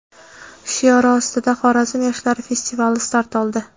shiori ostida Xorazm yoshlari festivali start oldi.